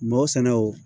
Ma o sɛnɛ o